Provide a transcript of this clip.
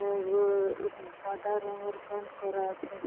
আহ উম সাদা রঙের পেইন্ট করা আছে।